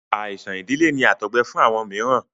Àìsàn ìdílé ni àtọgbẹ fún àwọn mìíràn.